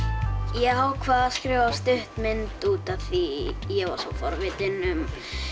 ég ákvað að skrifa stuttmynd út af því ég var svo forvitinn um